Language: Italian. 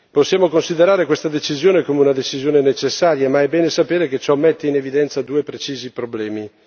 Possiamo considerare questa decisione con una decisione necessaria ma è bene sapere che ciò mette in evidenza due precisi problemi.